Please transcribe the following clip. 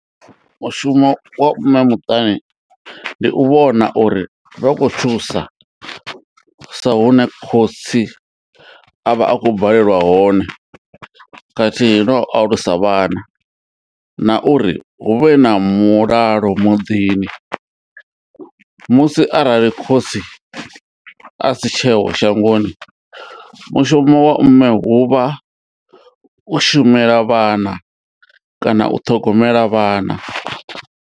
Mushumo wa mme muṱani ndi u vhona uri vha khou thusa sa hune khotsi avha akho balelwa hone khathihi no alusa vhana na uri hu vhe na mulalo muḓini. Musi arali khotsi a si tsheho shangoni mushumo wa mme huvha u shumela vhana kana u ṱhogomela vhana.